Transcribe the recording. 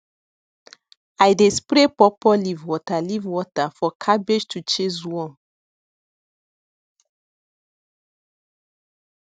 i dey spray pawpaw leaf water leaf water for cabbage to chase worm